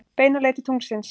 Beina leið til tunglsins.